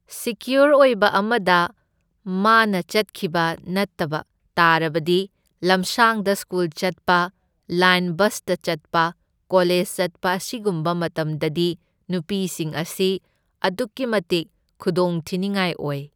Secure ꯑꯣꯏꯕ ꯑꯃꯗ ꯃꯥꯅ ꯆꯠꯈꯤꯕ ꯅꯠꯇꯕ ꯇꯥꯔꯕꯗꯤ ꯂꯝꯁꯥꯡꯗ ꯁ꯭ꯀꯨꯜ ꯆꯠꯄ, ꯂꯥꯏꯟ ꯕꯁꯇ ꯆꯠꯄ, ꯀꯣꯂꯦꯁ ꯆꯠꯄ ꯑꯁꯤꯒꯨꯝꯕ ꯃꯇꯝꯗꯗꯤ ꯅꯨꯄꯤꯁꯤꯡ ꯑꯁꯤ ꯑꯗꯨꯛꯀꯤ ꯃꯇꯤꯛ ꯈꯨꯗꯣꯡꯊꯤꯅꯤꯡꯉꯥꯏ ꯑꯣꯏ꯫